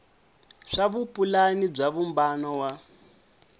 swa vupulani bya vumbano wa